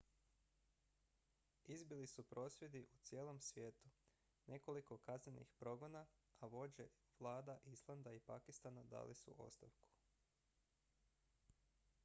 izbili su prosvjedi u cijelom svijetu nekoliko kaznenih progona a vođe vlada islanda i pakistana dali su ostavku